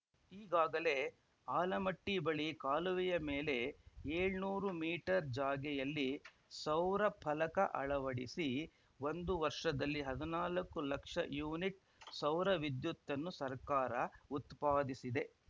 ಈಗಾಗಲೇ ಆಲಮಟ್ಟಿಬಳಿ ಕಾಲುವೆಯ ಮೇಲೆ ಏಳ್ನುರು ಮೀಟರ್‌ ಜಾಗೆಯಲ್ಲಿ ಸೌರಫಲಕ ಅಳವಡಿಸಿ ಒಂದು ವರ್ಷದಲ್ಲಿ ಹದುನಾಲ್ಕು ಲಕ್ಷ ಯುನಿಟ್‌ ಸೌರವಿದ್ಯುತ್ತನ್ನು ಸರ್ಕಾರ ಉತ್ಪಾದಿಸಿದೆ